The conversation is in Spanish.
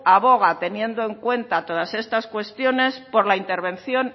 aboga teniendo en cuenta todas estas cuestiones por la intervención